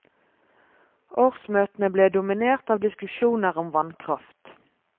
Årsmøtene ble dominert av diskusjoner om vannkraft.